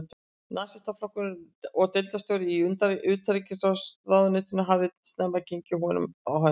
Nasistaflokksins og deildarstjóri í utanríkisráðuneytinu, hafði snemma gengið honum á hönd.